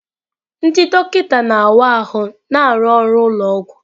Ndị dọkịta na-awa ahụ na-arụ ọrụ ụlọ ọgwụ.